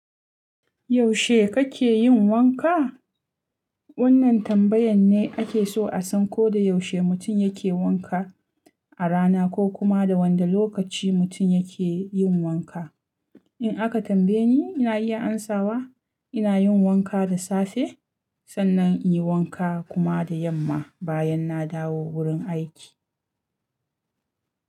Yaushe kake yin wanka? Wannan tambayan ne ake so a san ko da yaushe mutum yake wanka a rana ko kuma da wanda lokaci mutum yake yin wanka. In aka tambaye ni, ina iya amsawa ina yin wanka da safe sannan in yi wanka kuma da yamma bayan na dawo wurin aiki.